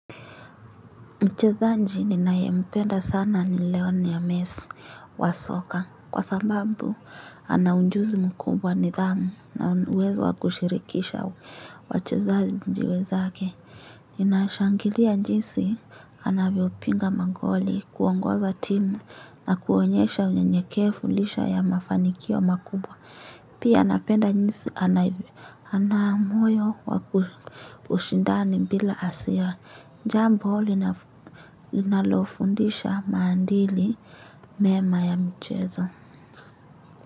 Mchezaji ninae mpenda sana ni leonel mesi wa soka kwa sababu ana ujuzi mkubwa nidhamu na uezo wa kushirikisha wachezaji wenzake. Ninashangilia jinsi anavyopiga magoli kuongoza timu na kuonyesha unyenyekevu lisha ya mafanikio makubwa. Pia anapenda jinsi ana moyo wa ushindani bila asia. Jambo linalofundisha maadili mema ya mchezo.